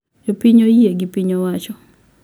Jopiny oyie gi piny owacho